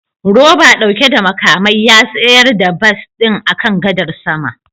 Roba dauke da makamai ya tsayar da bas din akan gadar sama